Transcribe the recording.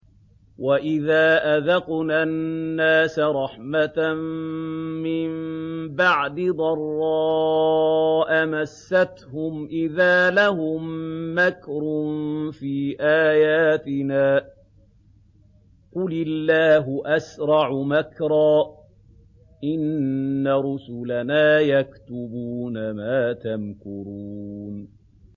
وَإِذَا أَذَقْنَا النَّاسَ رَحْمَةً مِّن بَعْدِ ضَرَّاءَ مَسَّتْهُمْ إِذَا لَهُم مَّكْرٌ فِي آيَاتِنَا ۚ قُلِ اللَّهُ أَسْرَعُ مَكْرًا ۚ إِنَّ رُسُلَنَا يَكْتُبُونَ مَا تَمْكُرُونَ